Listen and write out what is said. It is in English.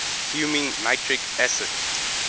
fuming nitric acid